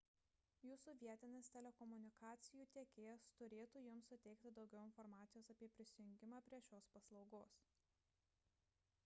jūsų vietinis telekomunikacijų tiekėjas turėtų jums suteikti daugiau informacijos apie prisijungimą prie šios paslaugos